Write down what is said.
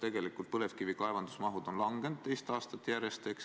Tegelikult on põlevkivi kaevandamise mahud langenud kaks aastat järjest.